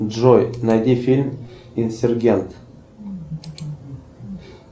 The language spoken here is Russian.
джой найди фильм инсергент